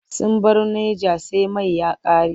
Sun baro Naja sai mai ya ƙare.